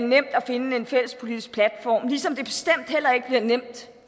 nemt at finde en fælles politisk platform ligesom det bestemt heller ikke har været nemt